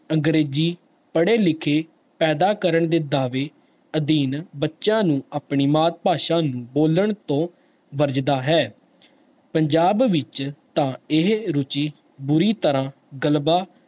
ਅੰਗਰੇਜ਼ੀ ਪੜ੍ਹੇ ਲਿਖੇ ਪੈਦਾ ਕਰਨ ਦੇ ਦਾਵੇ ਅਧੀਨ ਬੱਚਿਆਂ ਨੂੰ ਆਪਣੀ ਮਾਤ ਭਾਸ਼ਾ ਨੂੰ ਬੋਲਣ ਤੋਂ ਵਰਜਦਾ ਹੈ ਪੰਜਾਬ ਵਿੱਚ ਤਾਂ ਇਹ ਰੁੱਚੀ ਬੁਰੀ ਤਰ੍ਹਾਂ ਗਲਬਾ